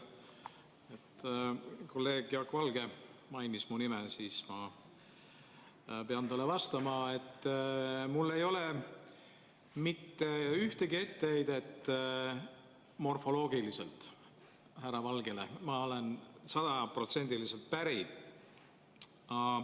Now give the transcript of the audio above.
Kuna kolleeg Jaak Valge mainis mu nime, siis ma pean talle vastama, et mul ei ole mitte ühtegi etteheidet morfoloogiliselt härra Valgele, ma olen temaga sajaprotsendiliselt päri.